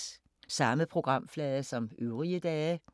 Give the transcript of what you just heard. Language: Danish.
Samme programflade som øvrige dage